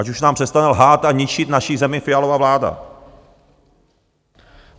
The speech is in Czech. Ať už nám přestane lhát a ničit naši zemi Fialova vláda.